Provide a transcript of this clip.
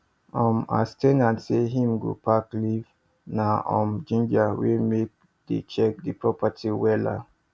um as ten ant say him go pack leave na um ginger wey make dey check the property wella